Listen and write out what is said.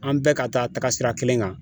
An bɛɛ ka taa taga sira kelen kan.